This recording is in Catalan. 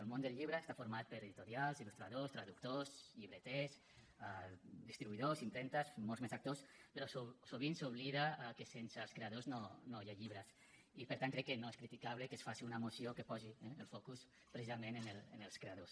el món del llibre està format per editorials il·lustradors traductors llibreters distribuïdors impremtes molts més actors però sovint s’oblida que sense els creadors no hi ha llibres i per tant crec que no és criticable que es faci una moció que posi eh el focus precisament en els creadors